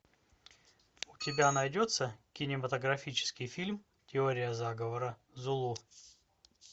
у тебя найдется кинематографический фильм теория заговора зулу